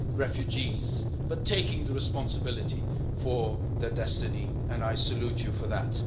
refugees, but taking the responsibility for their destiny, and I salute you for that.